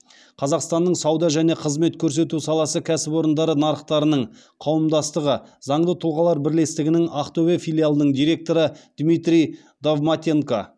қазақстанның сауда және қызмет көрсету саласы кәсіпорындары нарықтарының қауымдастығы заңды тұлғалар бірлестігінің ақтөбе филиалының директоры дмитрий довматенко